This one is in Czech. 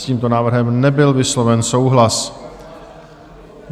S tímto návrhem nebyl vysloven souhlas.